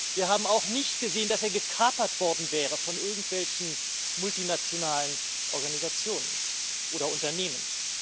Wir haben auch nicht gesehen, dass er gekapert worden wäre von irgendwelchen multinationalen Organisationen oder Unternehmen.